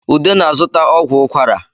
Ude na-zụta ọgwụ ukwara